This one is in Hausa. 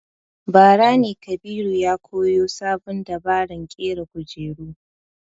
Bara ne Kabiru ya koyo sabon dabaran ƙera kujera